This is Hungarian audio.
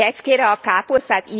Kecskére a káposztát?